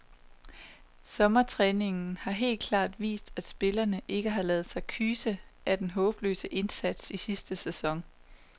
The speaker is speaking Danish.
Sommertræningen har helt klart vist, at spillerne ikke har ladet sig kyse af den håbløse indsats i sidste sæson.